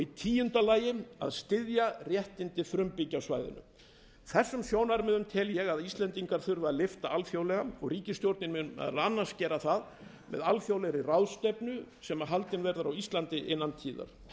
í tíunda lagi að styðja réttindi frumbyggja á svæðinu þessum sjónarmiðum tel ég að íslendingar þurfi að lyfta alþjóðlega og ríkisstjórnin mun meðal annars gera það með alþjóðlegri ráðstefnu sem haldin verður á íslandi innan tíðar frú